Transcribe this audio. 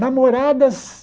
Namoradas...